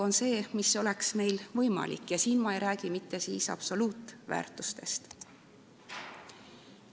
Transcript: Kolm neljandikku oleks võimalik ja ma ei räägi mitte absoluutväärtustest.